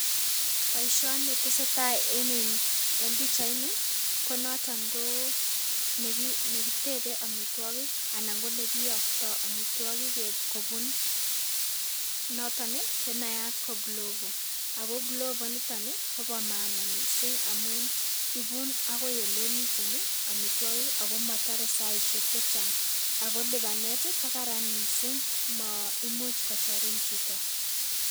Boishonii tesetaa en pichainii ko noto nekitebee omitwokik anan ko nekiyogtoo omitwokik kobun noton ne nayat ko GLOVO, ako GLOVO niton ii kobo maana missing amun ibun agoi ele miten amitwokik ako motore saisyek chechang ako lipanet kogaran missing maimuch kochorin chito